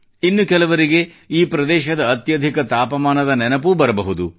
ಇನ್ನು ಕೆಲವರಿಗೆ ಈ ಪ್ರದೇಶದ ಅತ್ಯಧಿಕ ತಾಪಮಾನದ ನೆನಪೂ ಬರಬಹುದು